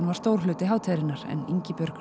var stór hluti hátíðarinnar en Ingibjörg